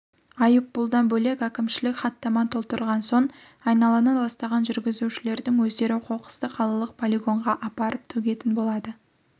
айыппұлдан бөлек әкімшілік хаттама толтырған соң айналаны ластаған жүргізушілердің өздері қоқысты қалалық полигонға апарып төгетін болады